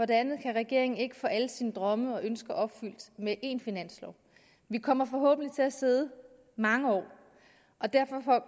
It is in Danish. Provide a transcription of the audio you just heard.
det andet kan regeringen ikke få alle sine drømme og ønsker opfyldt med én finanslov vi kommer forhåbentlig til at sidde mange år og derfor